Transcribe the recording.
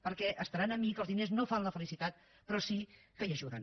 perquè deuen estar amb mi que els diners no fan la felicitat però sí que hi ajuden